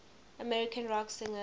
american rock singers